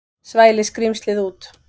Svæli skrímslið út.